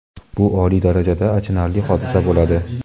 bu oliy darajada achinarli hodisa bo‘ladi.